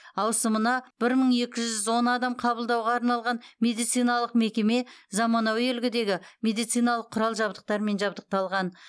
ауысымына бір мың екі жүз он адам қабылдауға арналған медициналық мекеме заманауи үлгідегі медициналық құрал жабдықтармен жабдықталған